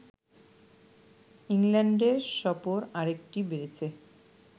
ইংল্যান্ডের সফর আরেকটি বেড়েছে